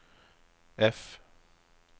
F